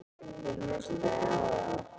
Ég hlustaði á þá.